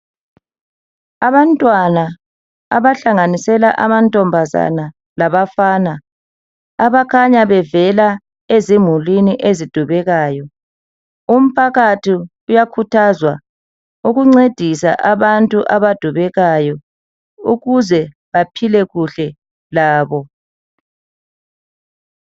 Abantwana, abahlanganisela amantombazana labafana. Abakhanya bevela ezimulini ezidubekayo. Umphakathi uyakhuthazwa ukuncedisa abantu abadubekayo. Ukuze baphile kuhle labo.